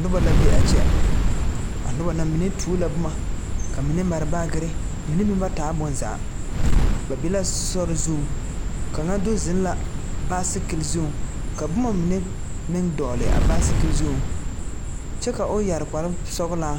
Noba la be a kyɛ a noba na ba mine tuo la boma ka mine meŋ mare baakiri mine meŋ ba taa bonzaa ba be la sori zuŋ kaŋa do zeŋ la baasikil zuŋ ka boma mine dogle a baasikil zuŋ kyɛ ka o yɛre kparre sɔglaa